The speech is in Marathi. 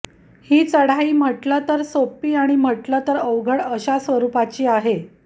ही चढाई म्हटलं तर सोपी आणि म्हटलं तर अवघड अशा स्वरुपाची आहे